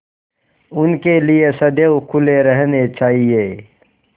उनके लिए सदैव खुले रहने चाहिए